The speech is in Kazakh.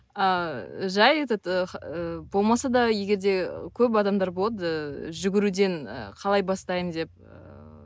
ааа жай этот болмаса да егер де көп адамдар болады ыыы жүгіруден қалай бастайын деп ыыы